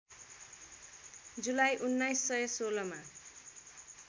जुलाई १९१६ मा